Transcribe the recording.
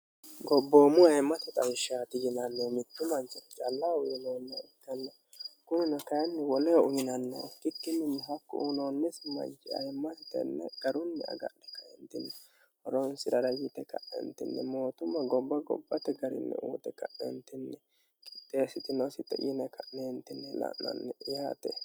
gobboommu ayimmate xawishshaati yinannihu mittu manchi callahu uyiloonne uttanne kuni nakayinni woleo uminannon kikki minni hakku uuloonnesi mayyi ayimmati tenne garunni agadhi kaendinni oronsirara yite ka'neentinni mootumma gobba gobbate garinni uute ka'neentinni qixeessitinosi xiyine ka'neentinni la'nonni yaate